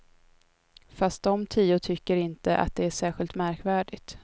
Fast de tio tycker inte att det är särskilt märkvärdigt.